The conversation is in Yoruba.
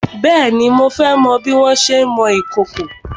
Bèéni, mo fẹ́ mọ bí wọn ṣé ń mọ ìkòkò.